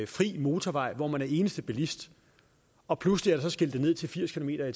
fri motorvej hvor man er eneste bilist og pludselig er der så skiltet ned til firs kilometer